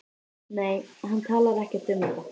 Nei, hann talar ekkert um þetta.